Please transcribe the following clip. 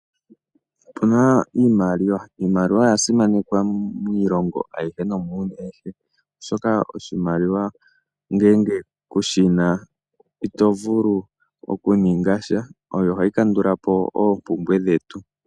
Opu na Iimaliwa. Iimaliwa oya simanekwa miilongo nomuuyuni awuhe, oshoka oshimaliwa ngele kushi na ito vulu okuninga sha oyo hayi kandula po oompumbwe dhetu.